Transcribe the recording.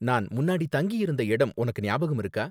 நான் முன்னாடி தங்கி இருந்த இடம் உனக்கு ஞாபகம் இருக்கா?